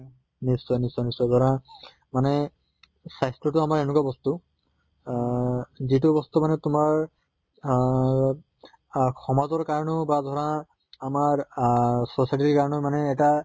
নিশ্চয় নিশ্চয় নিশ্চয় ধৰা মানে স্বাস্থ্য় টো আমাৰ এনকা বস্তু আহ যিটো বস্তু মানে তোমাৰ আহ আহ সমাজৰ কাৰণে বা ধৰা আমাৰ আহ society ৰ কাৰণেও মানে এটা